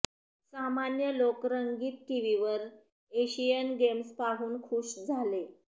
सामान्य लोक रंगीत टीव्हीवर एशियन गेम्स पाहून खुश झाले